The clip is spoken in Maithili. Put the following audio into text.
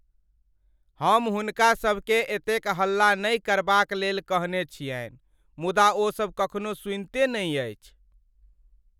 हम हुनका सभकेँ एतेक हल्ला नहि करबाक लेल कहने छियनि , मुदा ओसभ कखनो सुनिते नहि अछि।